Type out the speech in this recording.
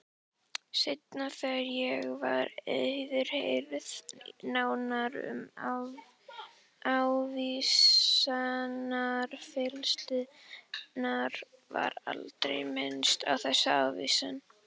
Seinna þegar ég var yfirheyrð nánar um ávísanafalsanirnar var aldrei minnst á þessa ávísun.